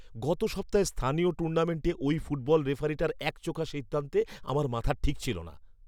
গত সপ্তাহের স্থানীয় টুর্নামেন্টে ওই ফুটবল রেফারিটার একচোখো সিদ্ধান্তে আমার মাথার ঠিক ছিল না!